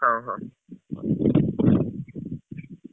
ହଉ ହଉ।